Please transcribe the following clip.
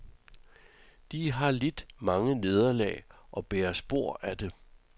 De har lidt mange nederlag og bærer spor af det.